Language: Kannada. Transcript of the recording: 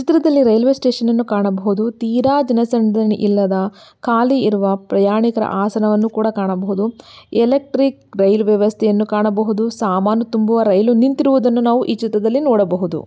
ಚಿತ್ರದಲ್ಲಿ ರೈಲ್ವೆ ಸ್ಟೇಷನ್ ನನ್ನು ಕಾಣಬಹುದು ತೀರಾ ಜನಸಂದಣಿ ಇಲ್ಲದ ಖಾಲಿಯಿರುವ ಪ್ರಯಾಣಿಕರ ಆಸನವನ್ನು ಕೂಡ ಕಾಣಬಹುದು. ಎಲೆಕ್ಟ್ರಿಕ್ ರೈಲ್ ವ್ಯವಸ್ಥೆಯನ್ನು ಕಾಣಬಹುದು ಸಾಮಾನು ತುಂಬುವ ರೈಲು ನಿಂತಿರುವುದನ್ನು ನಾವು ಈ ಚಿತ್ರದಲ್ಲಿ ನೋಡಬಹುದು.